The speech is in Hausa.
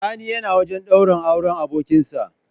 Sani yana wajan daurin auren abokin sa